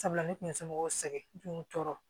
Sabula ne kun ye somɔgɔw sɛgɛn tunɔrɔ